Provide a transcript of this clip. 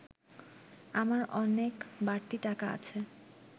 আমার অনেক বাড়তি টাকা আছে